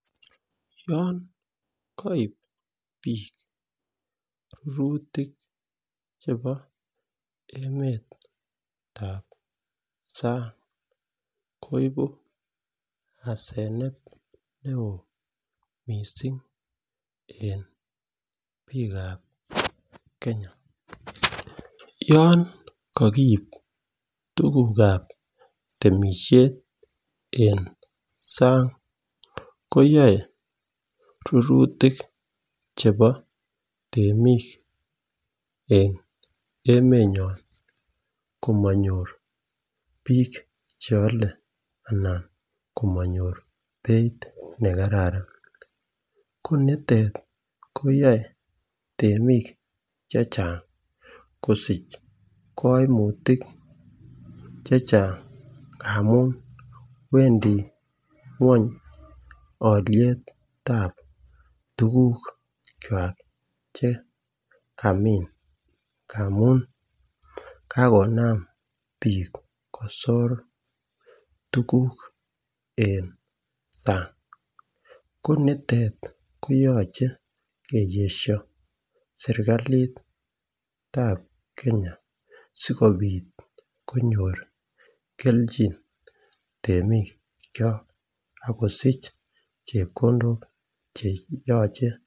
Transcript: Yon koib bik rurutik chebotab sang koibu asenet neo missing en bikab Kenya, yon kikiib tukuka temishet en sang koyoe rurutik chebo temik en emenyon komonyor bik cheolen anan komonyor beit nekararan ko nitet koyoe temik chechang kosich koimutik chechang amun wendii ngwony olietab tukuk kwak chekamin amun kakonam bik kosir tukuk en sang ko nitet koyoche keyesho sirkalitat Kenya sikopit konyor keljin temik kyok akosich chepkondok che yoche.